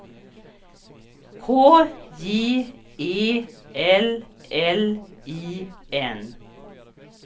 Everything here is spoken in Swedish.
K J E L L I N